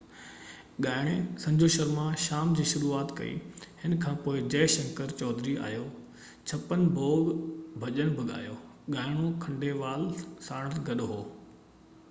ڳائڻي سنجو شرما شام جي شروعات ڪئي هن کانپوءِ جئہ شنڪر چوڌري آيو ڇپن ڀوگ ڀڄن بہ ڳايو ڳائڻو کنڊيلوال ساڻس گڏ هو